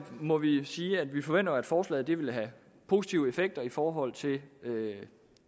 må vi sige at vi forventer at forslaget vil have positive effekter i forhold til